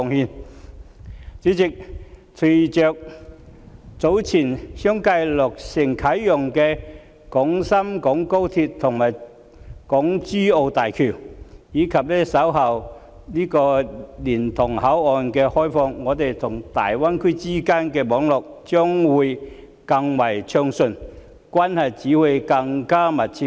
代理主席，隨着早前相繼落成啟用的廣深港高速鐵路和港珠澳大橋，以及稍後蓮塘口岸的開通，香港與大灣區之間的網絡將會更為暢順，關係只會更密切。